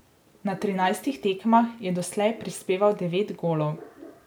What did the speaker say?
Na trinajstih tekmah je doslej prispeval devet golov.